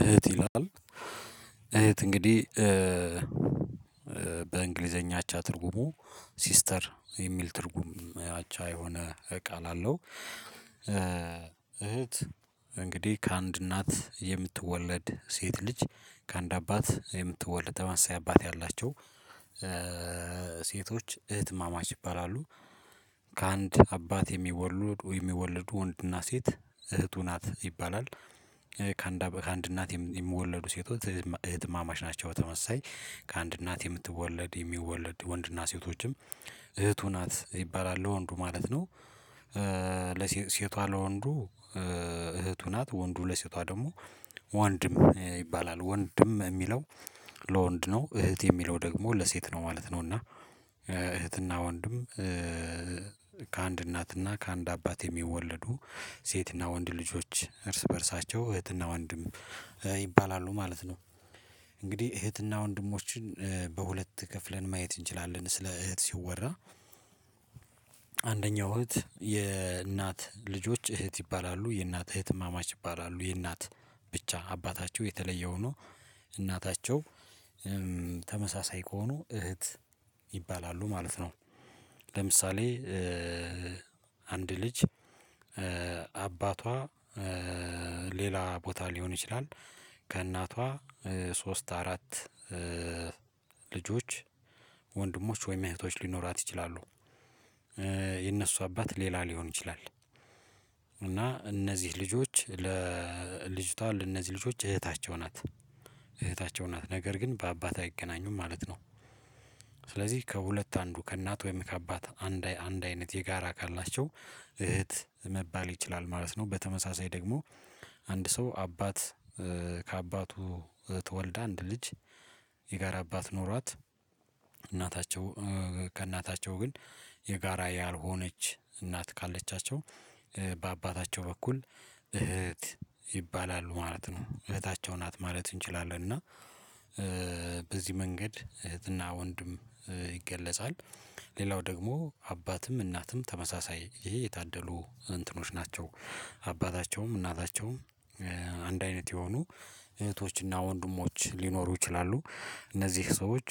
እህት ይላል እህት እንግዲህ በእንግሊዘኛች አቻ ትርጉሙ ሲስተር የሚል ትርጉም አቻ የሆነ ቃል አለው። እህት እንግዲህ ከአንድ እናት የምትወለድ ሴት ልጅ ከአንድ አባት የምትወልድ ተመመሳይ አባት ያላቸው ሴቶች እህት እማማች ይባላሉ። ከአንድ አባት የሚወልዱ የሚወልዱ ወንድና ሴት እህቱ ናት ይባላል። ከአንድ እናት የሚወለዱ ሴቶች እህት እማማች ናቸው። በተመሳሳይ ከአንድ እናት የምትወለድ የሚወለድ ወንድና ሴቶችም እህቱ ናት ይባላል ለወንዱ ማለት ነው። ለሴቷ ለወንዱ እህቱ ናት ወንዱ ለሴቷ ደግሞ ወንድም ይባላል ወንድም የሚለው ለወንድ ነው እህት የሚለው ደግሞ ለሴት ነው ማለት ነው። እና እህትና ወንድም ከአንድ እናትና ከአንድ አባት የሚወለዱ ሴትና ወንድ ልጆች እርስ በእርሳቸው እህትና ወንድም ይባላሉ ማለት ነው። እንግዲህ እህትና ወንድሞችን በሁለት ከፍለን ማየት እንችላለን ስለ እህት ሲወራ አንደኛው እህት የእናት ልጆች እህት ይባላሉ የእናት እህት እማማች ይባላሉ የእናት ብቻ አባታቸው የተለየ ሆኖ እናታቸው ተመሳሳይ ከሆኑ እህት ይባላሉ ማለት ነው። ለምሳሌ አንድ ልጅ አባቷ ሌላ ቦታ ሊሆን ይችላል። ከእናቷ ሶስት አራት ልጆች ወንድሞች ወይም እህቶች ሊኖራት ይችላሉ። የነሱ አባት ሌላ ሊሆን ይችላል። እና እነዚህ ልጆች ለልጅቷ ለእነዚህ ልጆች እህታቸው ናት እህታቸው ናት ነገር ግን በአባት አይገናኙም ማለት ነው። ስለዚህ ከሁለት አንዱ ከእናት ወይም ከአባት አንድ አንድ አይነት የጋራ ካላቸው እህት መባል ይችላል ማለት ነው። በተመሳሳይ ደግሞ አንድ ሰው አባት ከአባቱ ተወልዳ አንድ ልጅ የጋራ አባት ኖሯት እናታቸው ከእናታቸው ግን የጋራ ያልሆነች እናት ካለቻቸው በአባታቸው በኩል እህት ይባላሉ ማለት ነው። እህታቸው ናት ማለት እንችላለን እና በዚህ መንገድ እህትና ወንድም ይገለጻል። ሌላው ደግሞ አባትም እናትም ተመሳሳይ ይሄ የታደሉ እንትኖች ናቸው። አባታቸውም እናታቸውም አንድ አይነት የሆኑ እህቶችና ወንድሞች ሊኖሩ ይችላሉ እነዚህ ሰዎች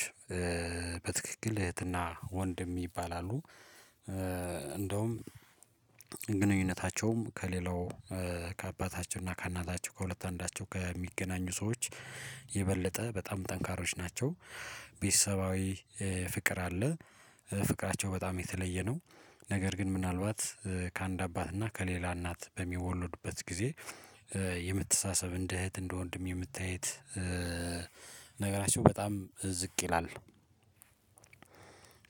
በትክክል እህትና ወንድ ይባላሉ። እንደውም ግንኙነታቸውም ከሌላው ከአባታቸው እና ከእናታቸው ከሁለት አንዳቸው ከሚገናኙ ሰዎች የበለጠ በጣም ጠንካሮች ናቸው። ቤተሰባዊ ፍቅር አለ ፍቅራቸው በጣም የተለየ ነው። ነገር ግን ምናልባት ከአንድ አባት እና ከሌላ እናት በሚወለዱበት ጊዜ የምትሳሰብ እንደ እህት እንደ ወንድም የመተያየት ነገራቸው በጣም ዝቅ ይላል።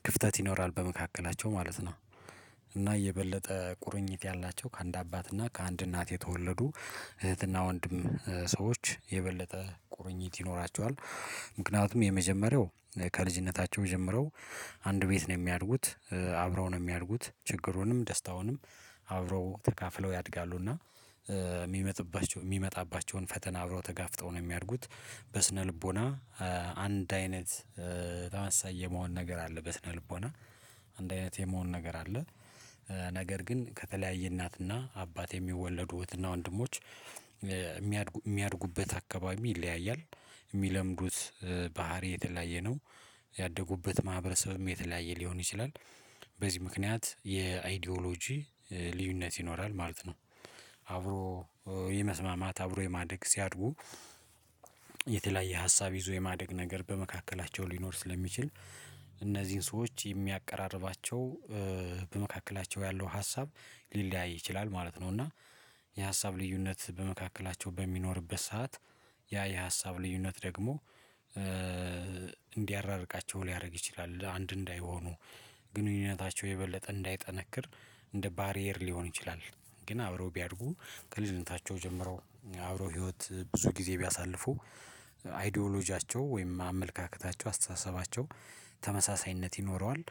ክፍተት ይኖራል በመካከላቸው ማለት ነው። እና እየበለጠ ቁርኝት ያላቸው ከአንድ አባት እና ከአንድ እናት የተወለዱ እህትና ወንድም ሰዎች የበለጠ ቁርኝት ይኖራቸዋል። ምክንያቱም የመጀመሪያው ከልጅነታቸው ጀምረው አንድ ቤት ነው የሚያድጉት አብረው ነው የሚያድጉት ችግሩንም ደስታውንም አብረው ተካፍለው ያድጋሉ እና የሚመጣባቸውን ፈተና አብረው ተጋፍጠው ነው የሚያደጉት። በስነልቦና አንድ አይነት በጣም ተመሳሳይ የመሆን ነገር አለ በስነልቦና አንድ አይነት የመሆን ነገር አለ። ነገር ግን ከተለያየ እናትና አባት የሚወለዱ እህትና ወንድሞች የሚያድጉበት አካባቢ ይለያያል። የሚለምዱት ባህሪ የተለያየ ነው ያደጉበት ማህበረሰብም የተለያየ ሊሆን ይችላል። በዚህ ምክንያት የአይዲዮሎጂ ልዩነት ይኖራል ማለት ነው። አብሮ የመስማማት አብሮ የማደግ ሲያድጉ የተለያየ ሀሳብ ይዞ የማደግ ነገር በመካከላቸው ሊኖር ስለሚችል እነዚህን ሰዎች የሚያቀራርባቸው በመካከላቸው ያለው ሀሳብ ሊለያይ ይችላል ማለት ነው። እና የሀሳብ ልዩነት በመካከላቸው በሚኖርበት ሰዓት ያ የሀሳብ ልዩነት ደግሞ እንዲያራርቃቸው ሊያደርግ ይችላል አንድ እንዳይሆኑ ግንኙነታቸው የበለጠ እንዳይጠነክር እንደ ባሪየር ሊሆን ይችላል። ግን አብረው ቢያድጉ ከልጅነታቸው ጀምረው አብረው ህይወት ብዙ ጊዜ ቢያሳልፉ አይዶሎጂያቸው ወይም አመለካከታቸው አስተሳሰባቸው ተመሳሳይነት ይኖረዋል።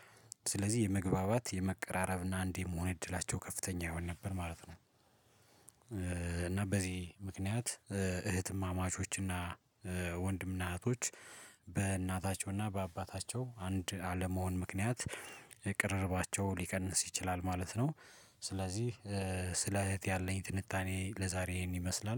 ስለዚህ የመግባባት የመቀራረብና አንድ የመሆን እድላቸው ከፍተኛ ይሆን ነበር ማለት ነው። እና በዚህ ምክንያት እህትማማቾችና ወንድምና እህቶች በእናታቸውና በአባታቸው አንድ አለመሆን ምክንያት ቅርርባቸው ሊቀንስ ይችላል ማለት ነው። ስለዚህ ስለ እህት ያለኝ ትንታኔ ለዛሬ ይሄን ይመስላል